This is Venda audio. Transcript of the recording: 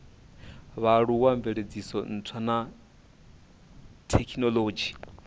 vhaaluwa mveledziso ntswa na thekinolodzhi